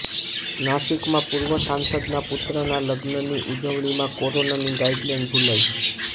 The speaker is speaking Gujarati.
નાસિકમાં પૂર્વ સાંસદના પુત્રના લગ્નની ઉજવણીમાં કોરોનાની ગાઈડલાઈન ભૂલાઈ